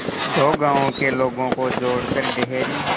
दो गांवों के लोगों को जोड़कर डेयरी